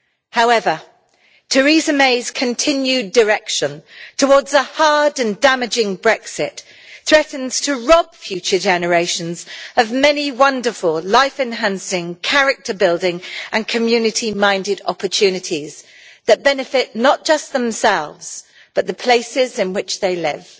However, Teresa May's continued direction towards a hard and damaging Brexit threatens to rob future generations of many wonderful, life enhancing, character building and community minded opportunities that benefit not just themselves but the places in which they live.